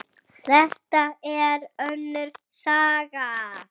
Það er önnur saga.